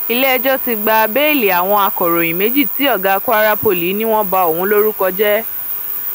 iléẹjọ ti gba bẹẹlì àwọn akòròyìn méjì tí ọgá kwara poli ni wọn ba òun lórúkọ jẹ